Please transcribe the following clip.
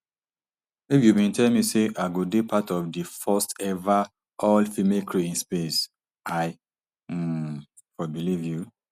if you bin tell me say i go dey part of di firstever allfemale crew in space i um for believe you